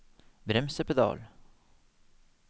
bremsepedal